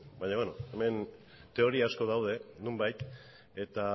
baina beno hemen teoria asko daude nonbait eta